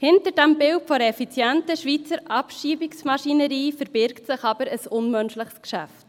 Hinter diesem Bild der effizienten Schweizer Abschiebungsmaschinerie verbirgt sich aber ein unmenschliches Geschäft.